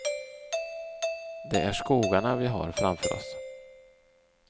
Det är skogarna vi har framför oss.